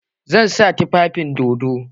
Zan sa tufafin dodon.